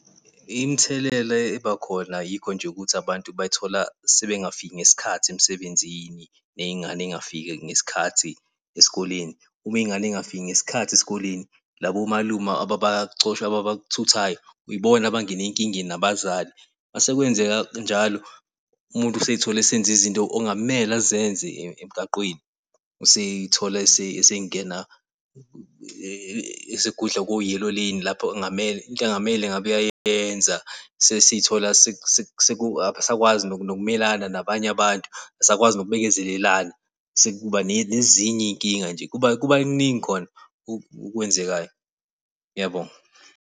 Imithelela ebakhona yikho nje ukuthi abantu bay'thola sebengafiki ngesikhathi emsebenzini ney'ngane y'ngafiki ngesikhathi esikoleni. Ume iy'ngane y'ngafiki ngesikhathi esikoleni labo malume abacosha ababathuthayo yibona abangena enkingeni nabazali masekwenzeka njalo umuntu useyithola esenza izinto ongamele azenze emgaqweni. Useyithola esengena esegudla ko-yellow lane lapho ongamele into engamele ngabe uyayenza sesithola . Akasakwazi nokumelana nabanye abantu, akasakwazi nokubekezelelana sekuba nezinye iy'nkinga nje kuba kuba kuningi khona okwenzekayo. Ngiyabonga.